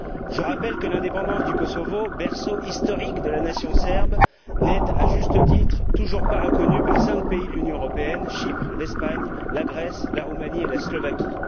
Je rappelle que l'indépendance du Kosovo, berceau historique de la nation serbe, n'est, à juste titre, toujours pas reconnue par cinq pays de l'Union européenne Chypre, l'Espagne, la Grèce, la Roumanie et la Slovaquie.